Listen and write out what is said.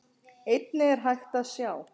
Einnig er hægt að sjá.